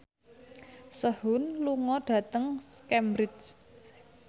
Sehun lunga dhateng Cambridge